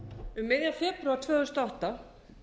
miðjan febrúar tvö þúsund og átta